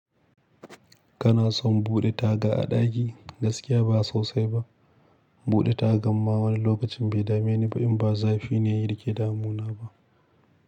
Kana son buɗe taga a ɗaki? Gaskiya ba sosai ba. Buɗe tagan ma wani lokacin bai dame ni ba in ba zafi ne yake damuna ba.